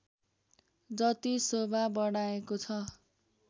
जति शोभा बढाएको छ